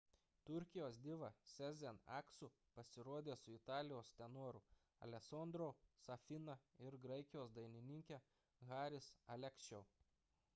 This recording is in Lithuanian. turkijos diva sezen aksu pasirodė su italijos tenoru alessandro'u safina ir graikijos dainininke haris alexiou